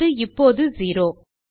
அது இப்போது செரோ